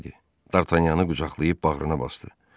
Dartanyanı qucaqlayıb bağrına basdı.